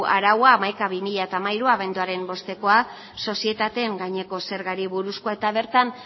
araua hamaika barra bi mila hamairu abenduaren bostekoa sozietateen gaineko zergari buruzkoa eta bertan